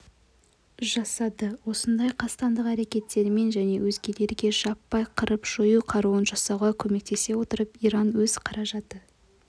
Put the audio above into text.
жасады осындай қастандық әрекеттерімен және өзгелерге жаппай қырып-жою қаруын жасауға көмектесе отырып иран өз қаражаты